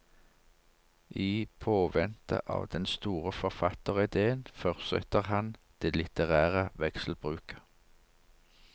I påvente av den store forfatteridéen fortsetter han det litterære vekselbruket.